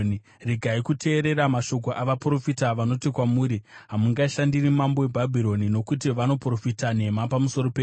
Regai kuteerera mashoko avaprofita vanoti kwamuri, ‘Hamungashandiri mambo weBhabhironi,’ nokuti vanoprofita nhema pamusoro penyu.